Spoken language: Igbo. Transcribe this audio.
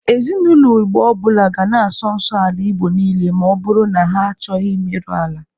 Ezinaụlọ Igbo ọ bụla ga na-asọ nsọ ala Igbo niile ma ọ bụrụ na ha achọghị imeru ala.